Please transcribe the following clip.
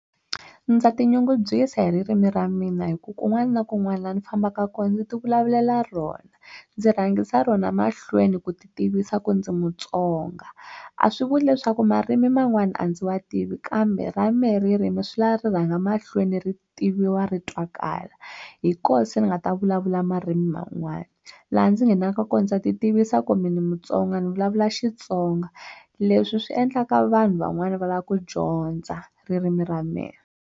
Ndza ti nyungubyisa hi ririmi ra mina hi ku kun'wana na kun'wana laha ni fambaka kona ndzi ti vulavulela rona ndzi rhangisa rona mahlweni ku ti tivisa ku ndzi Mutsonga a swi vuli leswaku marimi man'wani a ndzi wa tivi kambe ra mehe ririmi swi lava ri rhanga mahlweni ri tiviwa ri twakali hi koho se ni nga ta vulavula marimi man'wani laha ndzi nghenaka kona ndza ti tivisa ku mina ni Mutsonga ni vulavula Xitsonga leswi swi endlaka vanhu van'wani va lava ku dyondza ririmi ra mina.